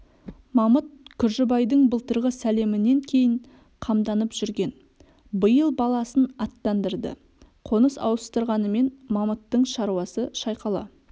мамыт күржібайдың былтырғы сәлемінен кейін қамданып жүрген биыл баласын аттандырды қоныс ауыстырғанмен мамыттың шаруасы шайқала